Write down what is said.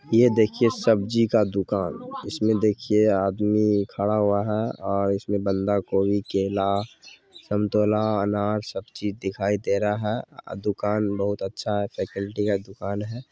ये देखिए सब्जी का दुकान इसमें देखिए आदमी खड़ा हुआ है और इसमें बांदा कोवी केला संतोला अनार सब चीज दिखाई दे रहा है अ दुकान बहुत अच्छा है का दुकान है।